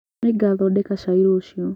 Nĩngathondeka cai rũciũ